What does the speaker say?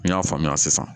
N y'a faamuya sisan